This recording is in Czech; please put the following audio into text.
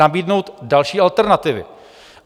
Nabídnout další alternativy?